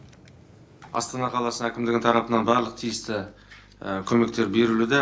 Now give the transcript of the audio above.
астана қаласы әкімдігі тарапынан барлық тиісті көмектер берілуде